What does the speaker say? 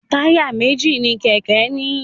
Táyà méjì ní kéké ní.